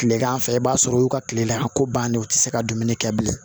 Tilegan fɛ i b'a sɔrɔ u y'u ka kile la a ko bannen u tɛ se ka dumuni kɛ bilen